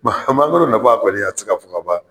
mangoro nafa kɔni a tɛ se ka fɔ ka ban.